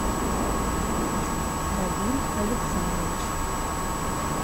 равиль александрович